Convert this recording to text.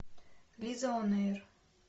лизаонэйр